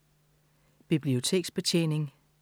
Biblioteksbetjening